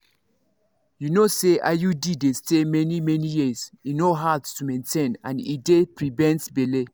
you know say iud dey stay many-many years e no hard to maintain and e dey prevent belle